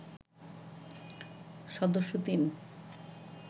সদস্য ৩